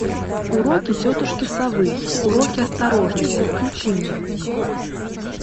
уроки тетушки совы уроки осторожности включи мне